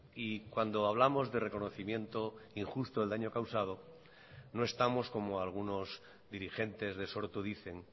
y cuando hablamos de reconocimiento injusto del daño causado no estamos como algunos dirigentes de sortu dicen